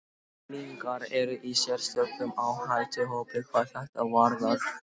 Unglingar eru í sérstökum áhættuhópi hvað þetta varðar.